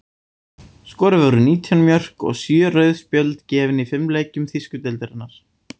Skoruð voru nítján mörk og sjö rauð spjöld gefin í fimm leikjum þýsku deildarinnar.